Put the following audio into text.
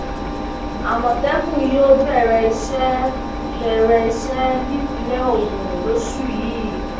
àmọtẹkùn yóò bẹrẹ iṣẹ bẹrẹ iṣẹ nípínlẹ ogun lóṣù yìí